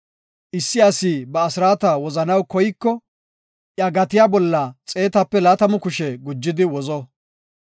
Issi asi ba asraata wozanaw koyiko, iya gatiya bolla xeetape laatamu kushe gujidi wozo.